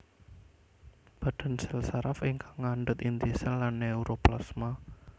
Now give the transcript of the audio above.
Badan sèl saraf ingkang ngandhut inti sèl lan neuroplasma